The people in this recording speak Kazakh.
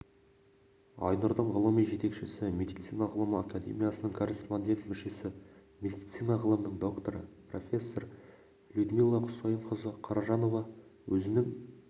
айнұрдың ғылыми жетекшісі медицина ғылымы акедемиясының корреспондент-мүшесі медицина ғылымының докторы профессор людмила құсайынқызы қаражанова өзінің